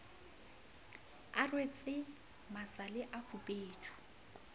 a rwetse masale a fubedu